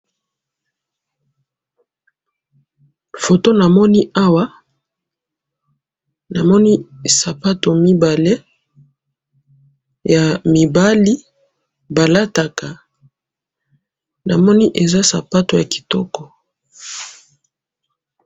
Photo namoni awa, namoni sapato mibale ya mibali balataka namoni eza sapato ya kitoko